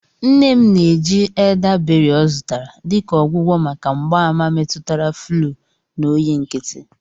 Nne m na-eji eldaberị ọ zụtara dị ka ọgwụgwọ maka mgbaàmà metụtara fluu na oyi nkịtị.